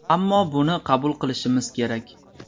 Ammo buni qabul qilishimiz kerak.